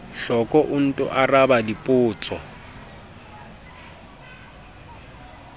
hloko o nto araba dipotso